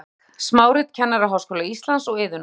Reykjavík: Smárit Kennaraháskóla Íslands og Iðunnar.